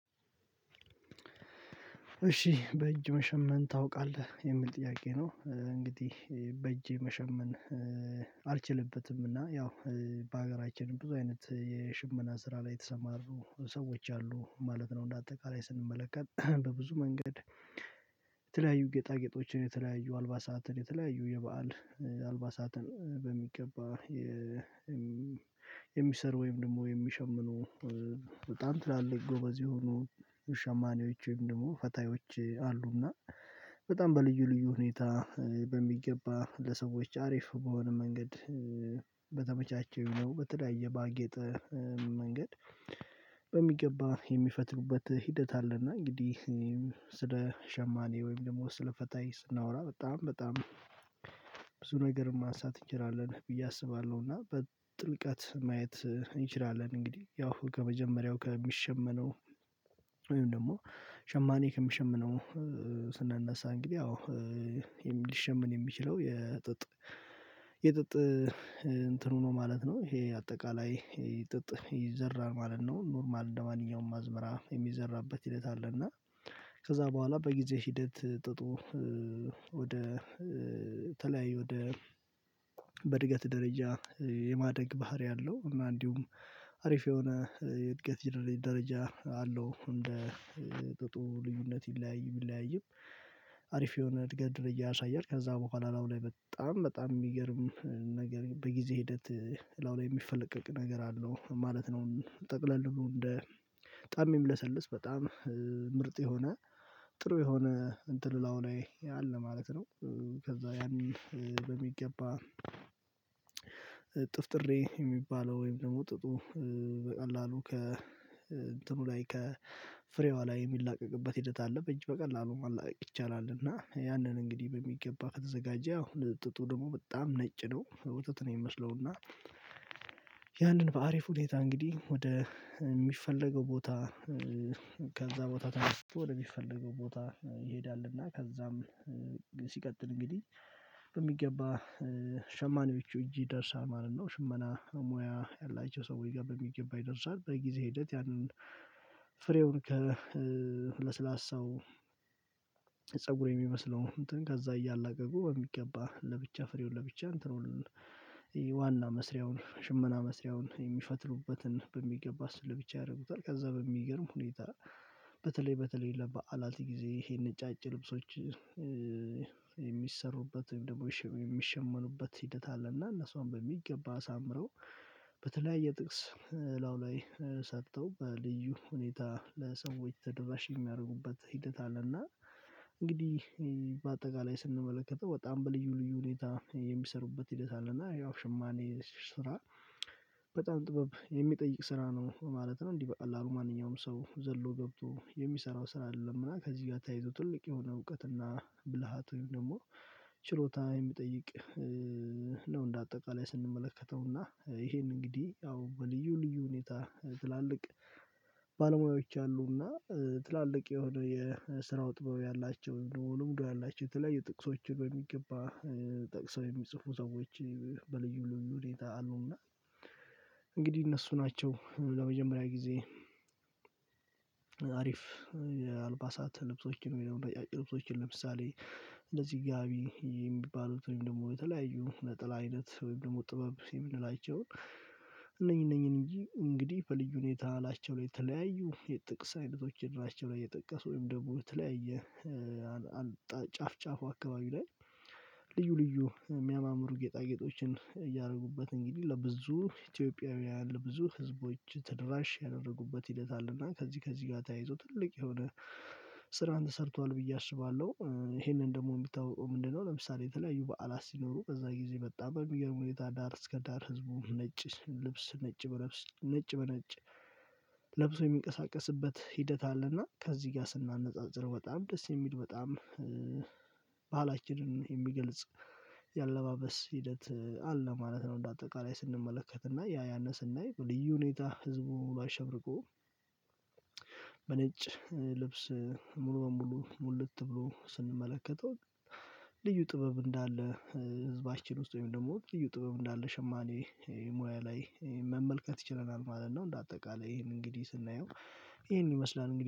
እሺ በእጅ መሸመን ታውቃለህ የሚል ጥያቄ ነው? እንግዲህ በእጄ መሸመን አልችልበትም እና ያው በሀገራችን ብዙ አይነት የሽመና ስራ ላይ የተሰማሩ ሰዎች አሉ ማለት ነው። እንደ አጠቃላይ ስንመለከት በብዙ መንገድ የተለያዩ ጌጣጌጦችን የተለያዩ አልባሳትን የተለያዩ የበአል አልባሳትን በሚገባ የሚሰሩ ወይም ደግሞ የሚሸምኑ በጣም ትላልቅ ጎበዝ የሆኑ ሸማኔዎች ወይም ደግሞ ፈታዮች አሉና በጣም በልዩ ልዩ ሁኔታ በሚገባ ለሰዎች አሪፍ በሆነ መንገድ በተመቻቸው ነው። በተለያየ ባጌጠ መንገድ በሚገባ የሚፈትሉበት ሂደት አለና እንግዲህ ስለ ሸማኔ ወይም ደግሞ ስለ ስለ ፈታይ ስናወራ በጣም በጣም ብዙ ነገር ማንሳት እንችላለን ብዬ አስባለሁ። እና በጥልቀት ማየት እንችላለን እንግዲህ ያው ከመጀመሪያው ከሚሸመነው ወይም ደግሞ ሸማኔ ከምሸምነው ስናነሳ እንግዲህ ያው ሊሸምን የሚችለው የጥጥ የጥጥ እንትኑ ነው ማለት ነው ይሄ አጠቃላይ ይሄ ጥጥ ይዘራል ማለት ነው ኖርማል እንደማንኛውም አዝመራ የሚዘራበት ሂደት አለ። እና ከዛ በኋላ በጊዜ ሂደት ጥጡ ወደ ተለያዩ ወደ በእድገት ደረጃ የማደግ ባህሪ አለው እና እንዲሁም አሪፍ የሆነ የእድገት ጀነ ደረጃ አለው እንደ ጥጡ ልዩነት ቢለያይም ቢለያይም አሪፍ የሆነ እድገት ደረጃ ያሳያል። ከዛ በኋላ ላይ በጣም በጣም የሚገርም ነገር በጊዜ ሂደት ላይ የሚፈለቀቅ ነገር አለው ማለት ነው። ጠቅለል ነው እንደ በጣም ሚለሰልስ በጣም ምርጥ የሆነ ጥሩ የሆነ እንትን ላዩ ላይ አለ ማለት ነው። ከዛ ያንን በሚገባ ጥፍጥሬ የሚባለው ወይም ደግሞ ጥጡ በቀላሉ ከ እንትኑ ላይ ከ ፍሬዋ ላይ የሚላቀቅበት ሂደት አለ በእጅ በቀላሉ ማላቀቅ ይቻላል። እና ያንን እንግዲህ በሚገባ ከተዘጋጀ አሁን ጥጡ ደግሞ በጣም ነጭ ነው ውጥት ነው ሚመስለው እና ያንን በአሪፍ ሁኔታ እንግዲህ ወደ ሚፈለገው ቦታ ከዛ ቦታ ተነስቶ ወደ ሚፈለገው ቦታ ይሄዳልና ከዛም ሲቀጥል እንግዲህ በሚገባ ሸማኔዎቹ እጅ ይደርሳል ማለት ነው ሽመና ሙያ ያላቸው ሰዎች ጋር በሚገባ ይደርሳል። በጊዜ ሂደት ያንን ፍሬውን ከለ ለስላሳው ፀጉር የሚመስለው እንትን ከዛ እያላቀቁ በሚገባ ለብቻ ፍሬውን ለብቻ እንትኑን ዋና መስሪያውን ሽመና መስሪያውን የሚፈትሉበትን በሚገባ እሱን ለብቻ ያረጉታል ከዛ በሚገርም ሁኔታ በተለይ በተለይ ለበአዓት ጊዜ ይሄንን ነጫጭ ልብሶች የሚሰሩበት ወይም ደግሞ የሚሸመኑበት ሂደት አለ እና እነሱን በሚገባ አሳምረው በተለያየ ጥቅስ ላዩ ላይ ሰጥተው በልዩ ሁኔታ ለሰዎች ተደራሽ የሚያደርጉበት ሂደት አለና እንግዲህ በአጠቃላይ ስንመለከተው በጣም በልዩ ልዩ ሁኔታ የሚሰሩበት ሂደት አለ። እና ያው ሽማኔ ስራ በጣም ጥበብ የሚጠይቅ ስራ ነው ማለት ነው እንዲህ በቀላሉ ማንኛውም ሰው ዘሎ ገብቶ የሚሰራው ስራ አይደለም እና ከዚህ ጋር ተያይዞ ትልቅ የሆነ እውቀትና ብልሃት ወይም ደግሞ ችሎታ የሚጠይቅ ነው። እንደ አጠቃላይ ስንመለከተው እና ይሄን እንግዲህ አዎ በልዩ ልዩ ሁኔታ ትላልቅ ባለሙያዎች አሉና ትላልቅ የሆነ የስራው ጥበብ ያላቸው ልምዱ ያላቸው የተለያዩ ጥቅሶችን በሚገባ ጠቅሰው የሚጽፉ ሰዎች በልዩ ሁኔታ አሉና። እንግዲህ እነሱ ናቸው ለመጀመሪያ ጊዜ አሪፍ የአልባሳት ልብሶችን ነው የሚለው ነጫጭ ልብሶችን ለምሳሌ እንደዚህ ጋቢ የሚባሉት ወይም ደግሞ የተለያዩ ነጠላ አይነት ወይም ደግሞ ጥበብ የምንላቸው እነኚህ እነኚህ እንጂ እንግዲህ በልዩ ሁኔታ ላያቸው ላይ የተለያዩ የጥቅስ አይነቶች እድራቸው ላይ የጠቀሱ ወይም ደግሞ የተለያየ ጫፍ ጫፍ አካባቢ ላይ ልዩ ልዩ የሚያማምሩ ጌጣጌጦችን እያደረጉበት እንግዲህ ለብዙ ኢትዮጵያውያን ለብዙ ህዝቦች ተደራሽ ያደረጉበት ሂደት አለና ከዚህ ከዚህ ጋር ተያይዞ ትልቅ የሆነ ስራን ተሰርቷል ብዬ አስባለሁ ይሄንን ደግሞ ሚታወቀው ምንድነው? ለምሳሌ የተለያዩ በዓላት ሲኖሩ በዛ ጊዜ በጣም በሚገርም ሁኔታ ዳር እስከ ዳር ህዝቡ ነጭ ልብስ ነጭ በነጭ ነጭ በነጭ ለብሶ የሚንቀሳቀስበት ሂደት አለና ከዚህ ጋር ስናነጻጽር በጣም ደስ የሚል በጣም ባህላችንን የሚገልጽ የአለባበስ ሂደት አለ ማለት ነው። በአጠቃላይ ስንመለከት እና ያ ያን ስናይ በልዩ ሁኔታ ህዝቡ አሸብርቆ በነጭ ልብስ ሙሉ በሙሉ ሙልት ብሎ ስንመለከተው ልዩ ጥበብ እንዳለ ህዝባችን ውስጥ ወይም ደግሞ ልዩ ጥበብ እንዳለ ሸማኔ ሙያ ላይ መመልከት ችለናል ማለት ነው። እንደአጠቃላይ ይሄንን እንግዲህ ስናየው ይሄን ይመስላል